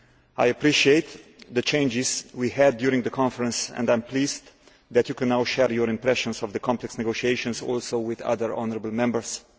I appreciate the exchanges we had during the Conference and I am pleased that you can now share your impressions of the complex negotiations with other honourable Members too.